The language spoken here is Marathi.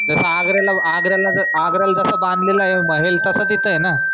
जस आगऱ्याला आगऱ्याला आगऱ्याला जस बांधलेलं ए महेल तसच इथं ए ना